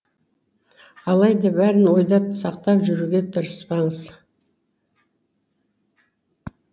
алайда бәрін ойда сақтап жүруге тырыспаңыз